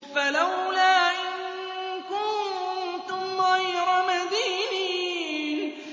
فَلَوْلَا إِن كُنتُمْ غَيْرَ مَدِينِينَ